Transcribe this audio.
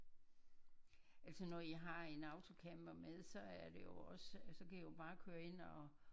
Altså når i har en autocamper med så er det jo også altså så kan i jo bare køre ind og